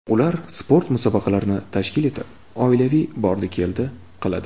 Ular sport musobaqalarini tashkil etib, oilaviy bordi-keldi qiladi.